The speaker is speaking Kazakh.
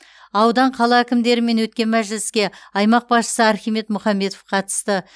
аудан қала әкімдерімен өткен мәжіліске аймақ басшысы архимед мұхамбетов қатысты